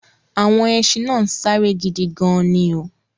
Àwọn ẹṣin náà ń sáré gidi gan-an ni o